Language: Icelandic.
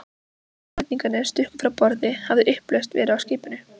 Síðan Hollendingarnir stukku frá borði, hafði upplausn verið á skipinu.